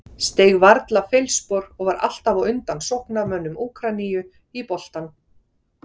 Steig varla feilspor og var alltaf á undan sóknarmönnum Úkraínu í boltann.